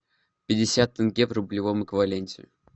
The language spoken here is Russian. пятьдесят тенге в рублевом эквиваленте